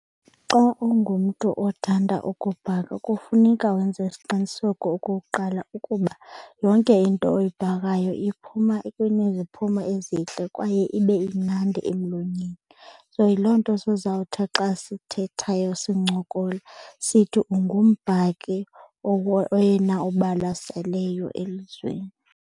Xa ungumntu othanda ukubhaka kufuneka wenze isiqiniseko okokuqala ukuba yonke into oyibhakayo iphuma kuneziphumo ezintle kwaye ibe imnandi emlonyeni. So, yiloo nto sizawuthi xa sithethayo sincokola sithi ungumbhaki oyena obalaseleyo elizweni.